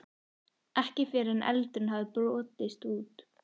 Ekki fyrr en eldurinn hafði brotist út.